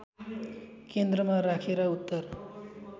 केन्द्रमा राखेर उत्तर